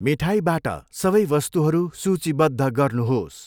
मिठाईबाट सबै वस्तुहरू सूचीबद्ध गर्नुहोस्।